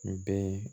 N bɛɛ